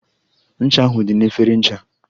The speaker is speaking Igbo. Ncha ahụ dị na efere ncha.